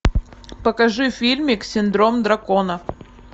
покажи фильмик синдром дракона